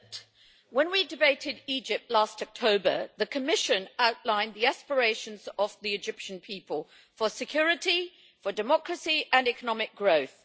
Madam President, when we debated Egypt last October the Commission outlined the aspirations of the Egyptian people for security, for democracy and economic growth.